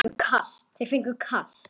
Þeir fengju kast!